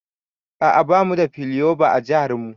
A'a bamu da plyova a jihar mu.